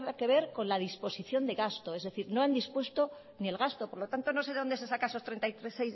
que ver con la disposición de gasto es decir no en dispuesto ni el gasto por lo tanto no sé de dónde se saca esos treinta y